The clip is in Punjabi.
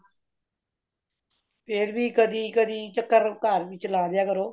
ਫ਼ੇਰ ਵੀ ਕਦੀ ਕਦੀ ਚੱਕਰ ਘਰ ਵਿੱਚ ਲਾਲਿਆਂ ਕਰੋ